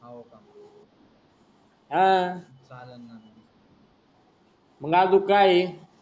हा मग अजून की आहे.